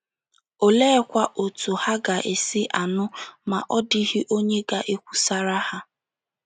Oleekwa otú ha ga - esi anụ ma ọ́ dịghị onye ga - ekwusara ha?